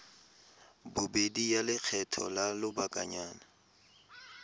bobedi ya lekgetho la lobakanyana